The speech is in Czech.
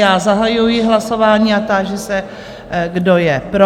Já zahajuji hlasování a táži se, kdo je pro?